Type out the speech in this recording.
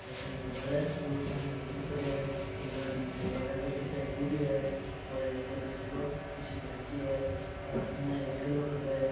Hotel के बाहर दो पानी के कैंपर पड़ेया है एक आदमी होटल के बाहर बैठ्या चाय पी रेया है और एक लकड़ी की कुर्सी डल रखी है सामने एक ठेलो खड्यो है।